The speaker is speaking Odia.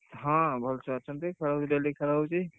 ହଁ, ଭଲ ଛୁଆ ଅଛନ୍ତି ଖେଳ daily ଖେଳ ହଉଛି।